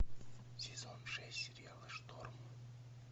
сезон шесть сериала шторм